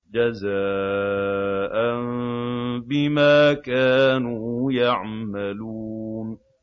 جَزَاءً بِمَا كَانُوا يَعْمَلُونَ